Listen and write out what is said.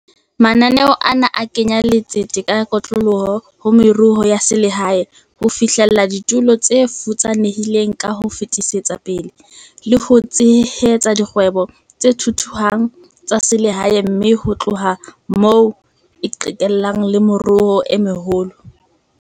Mananeo ana a kenya letsete ka kotloloho ho meruo ya selehae, ho fihlella ditulo tse futsanehileng ka ho fetisetsa pele, le ho tshehetsa dikgwebo tse thuthuhang tsa selehae mme ho tloha moo e qhekelle le meruong e meholo.